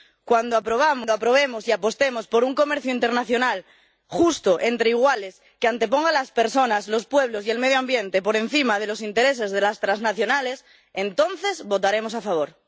Cuando aprobemos y apostemos por un comercio internacional justo, entre iguales, que anteponga las personas, los pueblos y el medio ambiente a los intereses de las trasnacionales, entonces votaremos a favor.